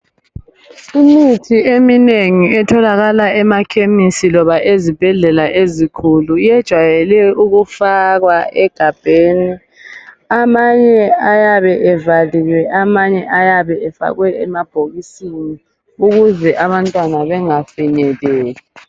Imithi eminengi etholakala emakhemisi loba ezibhedlela ezikhulu iyejayele ukufakwa egabheni amanye ayabe evaliwe amanye ayabe efakwe emabhokisini ukuze abantwana bengafikeleli.